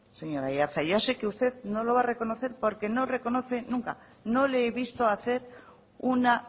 señor aiartza yo sé que usted no lo va a reconocer porque no reconoce nunca no le he visto hacer una